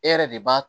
E yɛrɛ de b'a